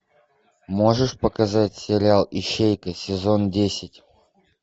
можешь показать сериал ищейка сезон десять